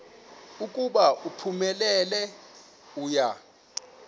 ukuba uphumelele uya